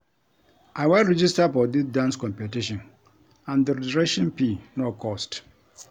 I wan register for dis dance competition and the registration fee no cost